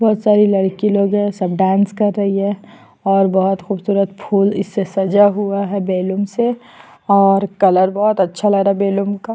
बहोत सारी लड़की लोग है सब डांस कर रही है और बहोत खुबसूरत फूल इससे सजा हुआ है बैलून से और कलर बहोत अच्छा लग रहा बलून का--